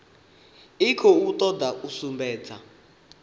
i khou toda u sumbedza